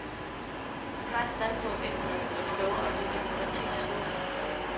Man har et standpunkt, indtil man er blevet klogere, det er demokratiets slogan.